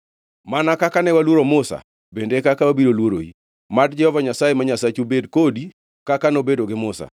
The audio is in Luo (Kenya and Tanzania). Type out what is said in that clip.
Mana kaka ne waluoro Musa, bende e kaka wabiro luoroi. Mad Jehova Nyasaye ma Nyasachu bed kodi kaka nobedo gi Musa.